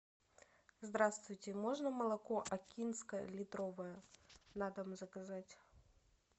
здравствуйте можно молоко акинское литровое на дом заказать